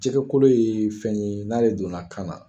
Jɛgɛkolo ye fɛn ye n'a donna kan na